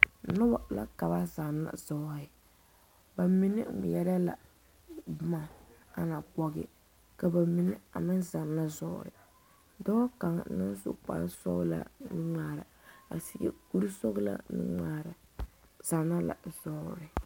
Noba la ka ba zanna zɔɔre ba mine ŋmeɛre la boma aŋa pɔge a meŋ zanna zɔɔre dɔɔ kaŋa naŋ su kpare sɔglaa nu ŋmaara a seɛ kur sɔglaa nuŋmaara zanna la zannoo